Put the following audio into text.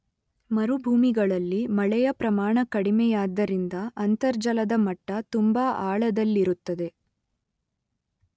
ಮರುಭೂಮಿಗಳಲ್ಲಿ ಮಳೆಯ ಪ್ರಮಾಣ ಕಡಿಮೆಯಾದ್ದರಿಂದ ಅಂತರ್ಜಲದ ಮಟ್ಟ ತುಂಬ ಆಳದಲ್ಲಿರುತ್ತದೆ.